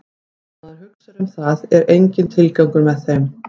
Ef maður hugsar um það er enginn tilgangur með þeim.